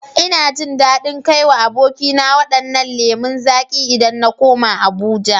Ina jin dadin kai wa abokina wadannan lemu zaƙi idan na koma Abuja